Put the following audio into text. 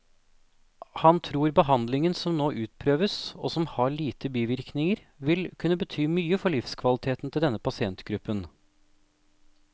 Han tror behandlingen som nå utprøves, og som har lite bivirkninger, vil kunne bety mye for livskvaliteten til denne pasientgruppen.